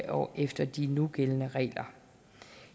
og efter de nugældende regler